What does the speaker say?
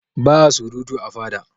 Ba'a surutu a fada.